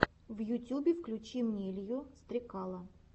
в ютюбе включи мне илью стрекала